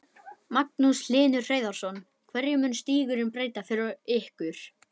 Magnús Hlynur Hreiðarsson: Hverju mun stígurinn breyta fyrir ykkur?